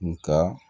Nga